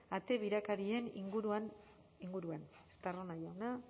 ate birakarien inguruan estarrona jauna